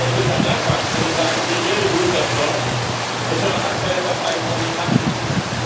In der EKR Fraktion sagen Sie milde rules of law und Toleranz bei der Verteilung von Migranten zu.